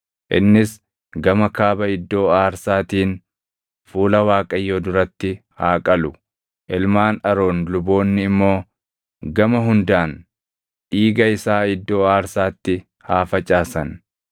Innis gama kaaba iddoo aarsaatiin fuula Waaqayyoo duratti haa qalu; ilmaan Aroon luboonni immoo gama hundaan dhiiga isaa iddoo aarsaatti haa facaasan.